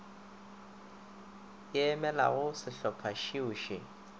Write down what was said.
e emelago šehlopha šeo še